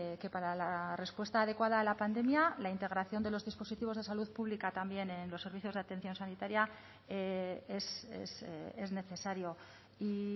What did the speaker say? que para la respuesta adecuada a la pandemia la integración de los dispositivos de salud pública también en los servicios de atención sanitaria es necesario y